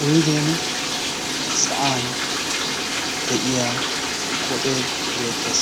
wuiigen sa7an de7iya koxee beettees.